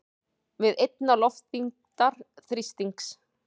við einnar loftþyngdar þrýsting.